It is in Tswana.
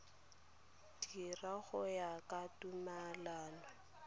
dira go ya ka tumalano